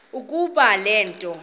ukuba le nto